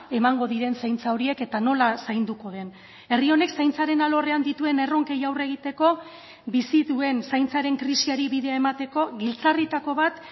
emango diren zaintza horiek eta nola zainduko den herri honek zaintzaren alorrean dituen erronkei aurre egiteko bizi duen zaintzaren krisiari bidea emateko giltzarritako bat